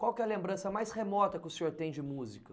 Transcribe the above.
Qual que é a lembrança mais remota que o senhor tem de música?